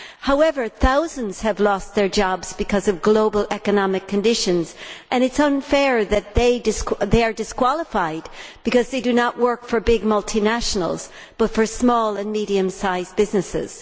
However, thousands have lost their jobs because of global economic conditions and it is unfair that they are disqualified because they do not work for big multinationals but for small and medium sized businesses.